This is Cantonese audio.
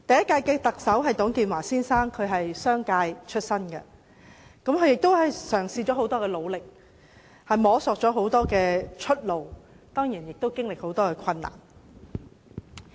第一屆特首是董建華先生。商界出身的他曾經很努力嘗試及摸索出路，其間經歷了很多困難。